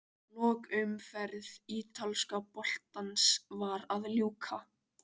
Lokaumferð ítalska boltans var að ljúka.